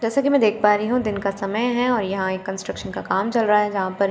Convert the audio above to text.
जैसा की मैं देख पा रही हूं दिन का समय है और यहां एक कंट्रक्शन का काम चल रहा हैं जहां पर।